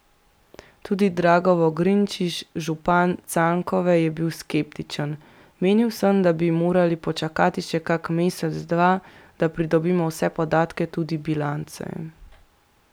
Tudi Drago Vogrinčič, župan Cankove, je bil skeptičen: 'Menil sem, da bi morali počakati še kak mesec, dva, da pridobimo vse podatke, tudi bilance.